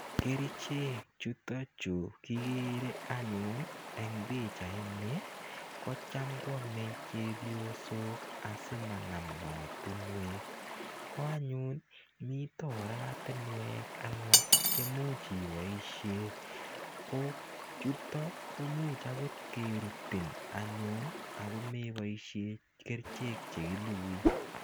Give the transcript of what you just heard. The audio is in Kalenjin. Kerichek chutachu kikere anyun eng' pichaini ko cham ko ame chepyosok asi manam maatinwek. Ko anyun mita oratinwek alake che imuch ipoishe. Ko chuto ko much akot kerutin anyun ako me poishe kerichek che kilugui.